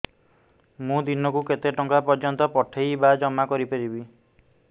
ମୁ ଦିନକୁ କେତେ ଟଙ୍କା ପର୍ଯ୍ୟନ୍ତ ପଠେଇ ବା ଜମା କରି ପାରିବି